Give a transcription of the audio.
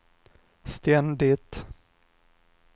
ständigt